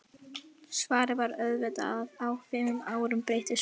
Svarið var auðvitað að á fimm árum breytist margt.